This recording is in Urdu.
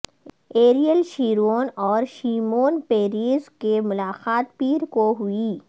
ایریل شیرون اور شیمون پیریز کی ملاقات پیر کو ہوئی